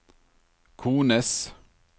kones